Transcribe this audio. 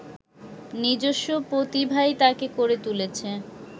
নিজস্ব প্রতিভাই তাঁকে করে তুলেছে